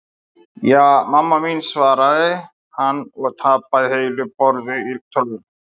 Ja, mamma mín svaraði hann og tapaði heilu borði í tölvuleiknum.